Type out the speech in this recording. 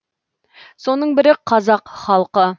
соның бірі қазақ халқы